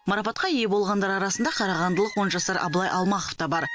марапатқа ие болғандар арасында қарағандылық он жасар абылай алмахов та бар